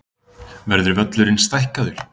Verður völlurinn stækkaður?